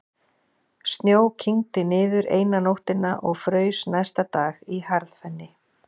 Snjó kyngdi niður eina nóttina og fraus næsta dag í harðfenni.